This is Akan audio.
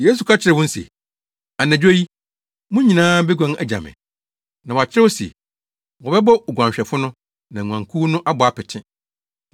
Yesu ka kyerɛɛ wɔn se, “Anadwo yi, mo nyinaa beguan agya me. Na wɔakyerɛw se, “ ‘wɔbɛbɔ oguanhwɛfo no, na nguankuw no abɔ apete.’